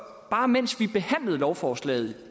bare mens vi behandlede lovforslaget